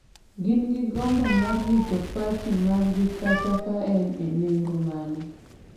gin gi gombo mar rito parti margi kata ka en e nengo mane,